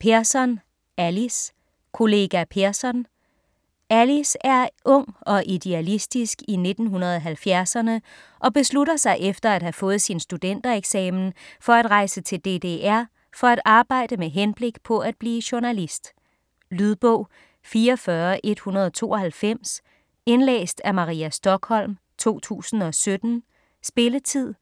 Persson, Alice: Kollega Persson Alice er ung og idealistisk i 1970'erne og beslutter sig efter at have fået sin studentereksamen for at rejse til DDR, for at arbejde med henblik på at blive journalist. Lydbog 44192 Indlæst af Maria Stokholm, 2017. Spilletid: